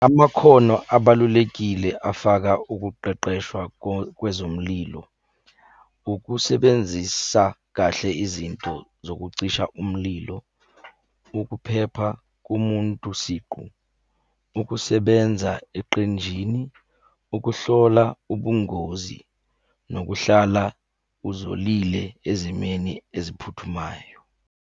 Amakhono abalulekile afaka ukuqeqeshwa kwezomlilo. Ukusebenzisa kahle izinto zokucisha umlilo, ukuphepha komuntu siqu, ukusebenza eqenjini, ukuhlola ubungozi, nokuhlala uzolile ezimeni eziphuthumayo.